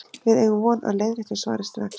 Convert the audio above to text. Við eigum von á leiðréttu svari strax.